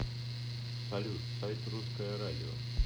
салют сайт русское радио